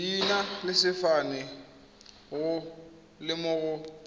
leina le sefane go lemoga